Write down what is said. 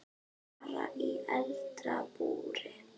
Bara í eldra búri.